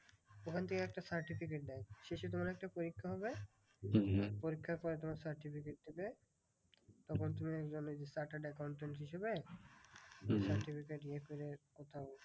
ওখান থেকে একটা certificate দেয়। শেষে তোমার একটা পরীক্ষা হবে। পরীক্ষার পরে তোমার certificate দেবে। তখন তুমি একজন ওই chartered accountant হিসেবে certificate ইয়ে করে কোথাও